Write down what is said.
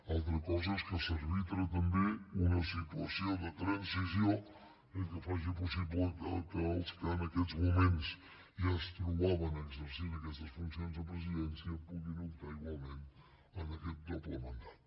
altra cosa és que s’arbitra també una situació de transició eh que faci possible que els que en aquests moments ja es trobaven exercint aquestes funcions de presidència puguin optar igualment a aquest doble mandat